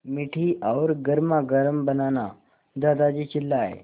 मीठी और गर्मागर्म बनाना दादाजी चिल्लाए